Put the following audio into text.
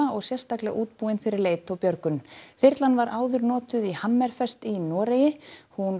og sérstaklega útbúin fyrir leit og björgun þyrlan var áður notuð í Hammerfest í Noregi hún